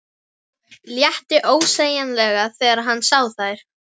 Létti ósegjanlega þegar hann sá þær.